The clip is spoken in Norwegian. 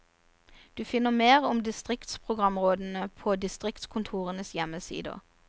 Du finner mer om distriktsprogramrådene på distriktskontorenes hjemmesider.